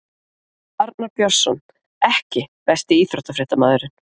Arnar BJörnsson EKKI besti íþróttafréttamaðurinn?